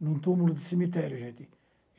em um túmulo de cemitério, gente.